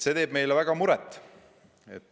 See teeb meile väga muret.